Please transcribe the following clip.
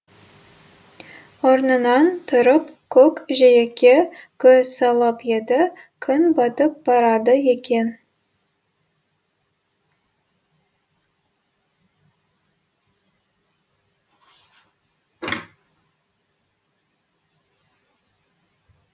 орнынан тұрып көк жиекке көз салып еді күн батып барады екен